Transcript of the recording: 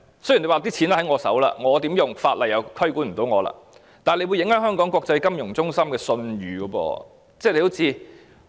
雖然錢在政府手上，如何使用，法例無法規管，但這樣會影響香港國際金融中心的信譽。